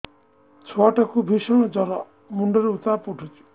ଛୁଆ ଟା କୁ ଭିଷଣ ଜର ମୁଣ୍ଡ ରେ ଉତ୍ତାପ ଉଠୁଛି